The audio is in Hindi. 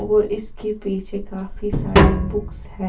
और इसके पीछे काफी सारे बुक्स है।